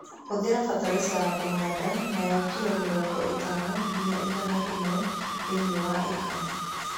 Hũthĩra bataraitha ya kũhanda nayo kiro mĩrongo ĩtano nginya igana rĩmwe thĩiniĩ wa ika.